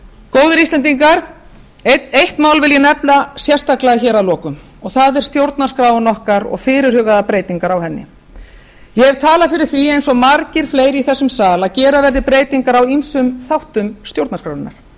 góðir íslendingar eitt mál vil ég nefna sérstaklega hér að lokum og það er stjórnarskráin okkar og fyrirhugaðar breytingar á henni ég hef talað fyrir því eins og margir fleiri í þessum sal að gera verði breytingar á ýmsum þáttum stjórnarskrárinnar